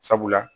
Sabula